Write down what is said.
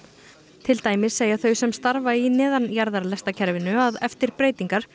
til dæmis segja þau sem starfa í að eftir breytingar